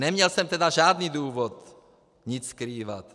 Neměl jsem teda žádný důvod nic skrývat.